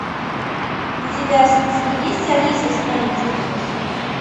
у тебя в списке есть алиса в стране чудес